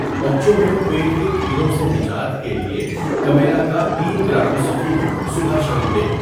بچوں میں پیٹ کے کیڑوں سے نجات کے لیے کمیلہ کا ۳؍گرام سفوف صبح شام دیں.